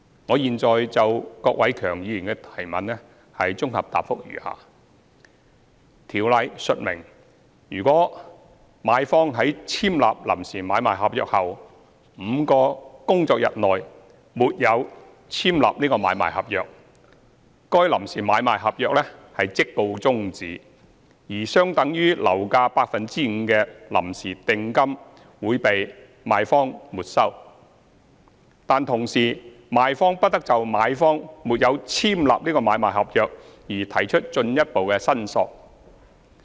我現就郭偉强議員的質詢，綜合答覆如下：《條例》述明，如買方在簽立臨時買賣合約後5個工作天內沒有簽立買賣合約，該臨時買賣合約即告終止，而相等於樓價 5% 的臨時訂金會被賣方沒收，但同時賣方不得就買方沒有簽立買賣合約而提出進一步申索。